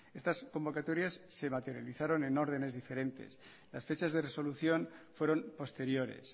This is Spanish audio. estas convocatorias se materializaron en órdenes diferentes las fechas de resolución fueron posteriores